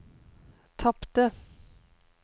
tapte